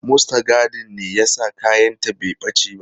Mustagadin ne ya sa kayanta bai ɓace ba.